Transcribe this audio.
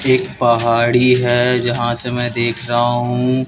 एक पहाड़ी है जहां से मै देख रहा हूं।